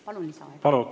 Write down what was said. Palun lisaaega!